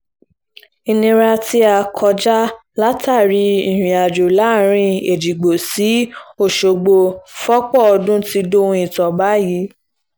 ìnira tí a là kọjá látàrí ìrìnàjò láàrin èjìgbò sí ọ̀ṣọ́gbó fọ́pọ̀ ọdún ti dohun ìtàn báyìí